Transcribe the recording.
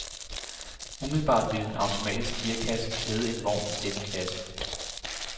Umiddelbart ville en automatisk gearkasse klæde en vogn i denne klasse.